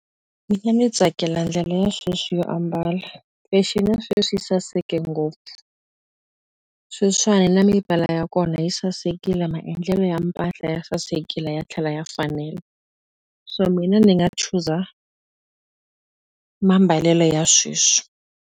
Mina ni tsakela ndlela ya sweswi yo ambala fexeni ya sweswi yi saseke ngopfu sweswiwani na ya kona yi sasekile maendlelo ya mpahla ya sasekile ya tlhela ya fanela so mina ni nga chuza mambalelo ya sweswi.